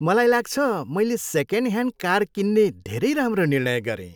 मलाई लाग्छ मैले सेकेन्ड ह्यान्ड कार किन्ने धेरै राम्रो निर्णय गरेँ।